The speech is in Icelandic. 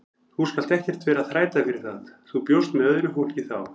Þú skalt ekkert vera að þræta fyrir það, þú bjóst með öðru fólki þá!